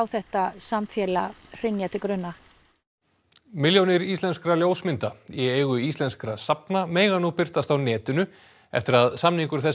þetta samfélag hrynja til grunna milljónir íslenskra ljósmynda í eigu íslenskra safna mega nú birtast á netinu eftir að samningur þess